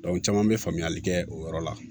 caman bɛ faamuyali kɛ o yɔrɔ la